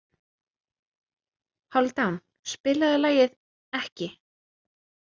Hálfdán, spilaðu lagið „Ekki“.